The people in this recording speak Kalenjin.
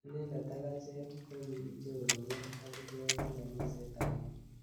Inendet ak achek kokichoronok ak kibendi kaniset agenge.